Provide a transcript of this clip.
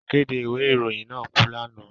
Akéde ìwé ìròyìn náà kú lánàá